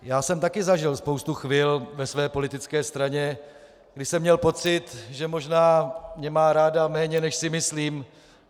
Já jsem taky zažil spoustu chvil ve své politické straně, kdy jsem měl pocit, že možná mě má ráda méně, než si myslím.